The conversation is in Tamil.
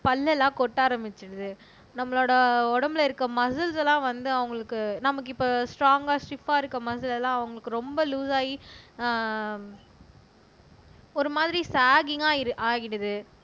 பல்லெல்லாம் கொட்ட ஆரம்பிச்சுடுது நம்மளோட உடம்புல இருக்க மசுல்ஸ் எல்லாம் வந்து அவங்களுக்கு நமக்கு இப்ப ஸ்டராங்கா ஸ்டிவ்வா இருக்க மசுல்ஸ் எல்லாம் அவங்களுக்கு ரொம்ப லூசு ஆகி அஹ் ஒரு மாதிரி ஷாக்கிகா ஆகிடுது